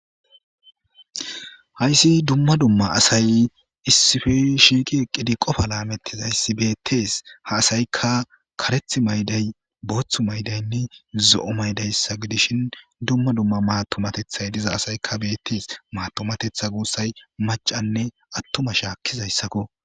hayssi dumma dumma asay issife shiiqi eqqidi qofa laamettizayssi beettees ha asaykka kareth mayday booththu maydaynne zo7o maydayssa gidishin dumma dumma maatomatethay diza asaykka beettees maatomatetha guussay macanne attuma shaakkizayssakko